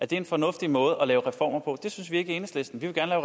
det en fornuftig måde at lave reformer på det synes vi ikke i enhedslisten vi vil gerne